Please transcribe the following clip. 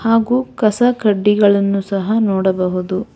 ಹಾಗೂ ಕಸ ಕಡ್ಡಿಗಳನ್ನು ಸಹ ನೋಡಬಹುದು.